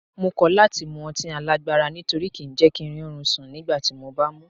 Mo kọ́ láti mu ọtí alágbára nítorí kí ń jẹ́ kí ń rí orun sùn nígbàtí mo bá mú un.